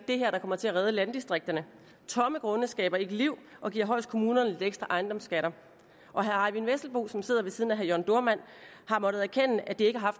det her der kommer til at redde landdistrikterne tomme grunde skaber ikke liv og giver højst kommunerne lidt ekstra ejendomsskatter og herre eyvind vesselbo som sidder ved siden af herre jørn dohrmann har måttet erkende at det ikke har